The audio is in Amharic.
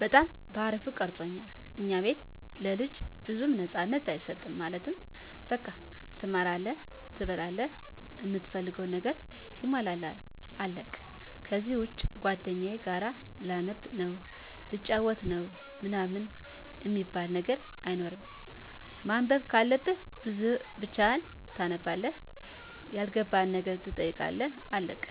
በጣም በአሪፉ ቀርፆኛል። ከኛ ቤት ለልጅ ብዙም ነፃነት አይሰጥም ማለት በቃ ትማራለህ፣ ትበላላህ፣ እምትፈልገው ነገር ይሟላልሃል አለቀ ከዚህ ውጭ ጓደኛዬ ጋር ላነብ ነው፣ ልጫወት ነው ምናምን አሚባል ነገር አይሰራም። ማንበብ ካለብህ ብቻህን ታነባለህ ያልገባህን ነገር ትጠይቃለህ አለቀ።